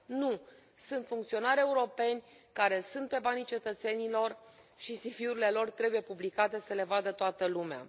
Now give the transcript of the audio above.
Nu, sunt funcționari europeni care sunt pe banii cetățenilor și CV urile lor trebuie publicate să le vadă toată lumea.